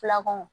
Filako